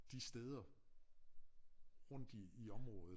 De steder rundt i i området